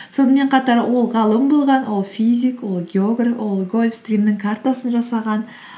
сонымен қатар ол ғалым болған ол физик ол географ ол гольфстримнің картасын жасаған